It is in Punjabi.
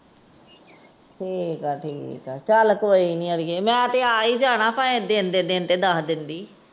ਠੀਕ ਏ ਠੀਕ ਏ, ਚੱਲ ਕੋਈ ਨੀ ਅੜੀਏ ਮੈ ਤਾਂ ਆ ਈ ਜਾਣਾ ਭਾਵੇ ਦਿਨ ਦੇ ਦਿਨ ਦੱਸ ਦੇਂਦੀ।